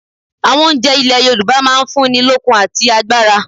Àwon oúnje ilè Yorùbá máa n fún ni lókun àti agbára